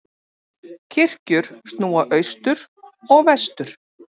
Kirkjur snúa austur og vestur.